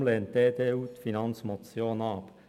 Deshalb lehnt die EDU die Finanzmotion ab.